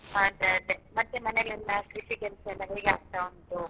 ಅದೆ ಅದೆ ಮತ್ತೆ ಮನೇಲೆಲ್ಲ ಕೃಷಿ ಕೆಲ್ಸ ಎಲ್ಲ ಹೇಗೆ ಆಗ್ತಾ ಉಂಟು?